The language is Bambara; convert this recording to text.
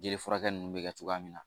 Jeli furakɛ nunnu bɛ kɛ cogoya min na